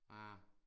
Ah